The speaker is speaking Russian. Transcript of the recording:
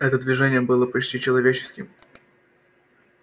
это движение было почти человеческим